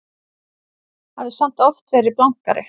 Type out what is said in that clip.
Hafði samt oft verið blankari.